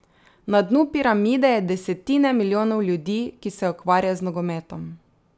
Na dnu piramide je desetine milijonov ljudi, ki se ukvarja z nogometom.